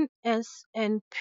NSNP.